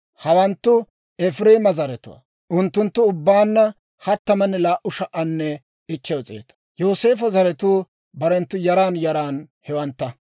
Hawanttu Efireema zaratuwaa; unttunttu ubbaanna 32,500. Yooseefo zaratuu barenttu yaran yaran hewantta.